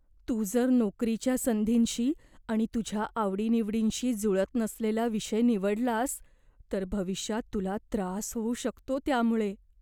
तू जर नोकरीच्या संधींशी आणि तुझ्या आवडीनिवडींशी जुळत नसलेला विषय निवडलास तर भविष्यात तुला त्रास होऊ शकतो त्यामुळे.